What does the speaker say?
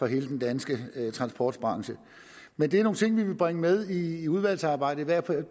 hele den danske transportbranche men det er nogle ting vi vil bringe med i udvalgsarbejdet i hvert fald